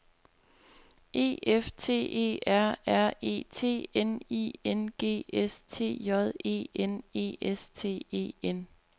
E F T E R R E T N I N G S T J E N E S T E N